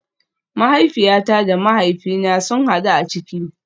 Mahaifiyata da mahaifina sun hadu a ciki